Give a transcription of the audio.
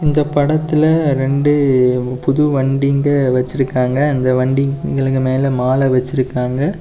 இந்தப் படத்துல ரெண்டு புது வண்டிங்க வெச்சிருக்காங்க அந்த வண்டிகளுக்கு மேல மாலெ வெச்சிருக்காங்க.